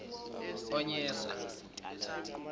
onyesa